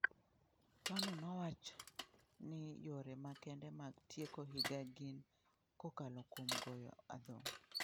Tony nowach ni yore makende mag 'tieko higa gin kokalo kuom goyo adhong'